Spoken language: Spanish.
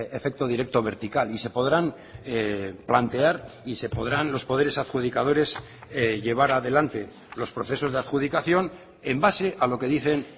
efecto directo vertical y se podrán plantear y se podrán los poderes adjudicadores llevar adelante los procesos de adjudicación en base a lo que dicen